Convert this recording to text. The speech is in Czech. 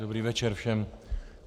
Dobrý večer všem.